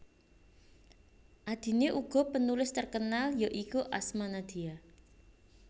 Adine uga penulis terkenal ya iku Asma Nadia